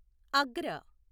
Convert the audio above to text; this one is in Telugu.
అగ్ర